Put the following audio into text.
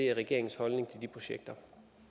er regeringens holdning til de projekter